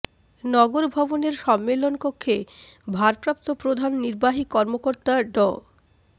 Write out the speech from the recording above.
নগর ভবনের সম্মেলন কক্ষে ভারপ্রাপ্ত প্রধান নির্বাহী কর্মকর্তা ড